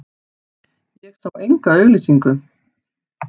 Ég sá enga auglýsingu.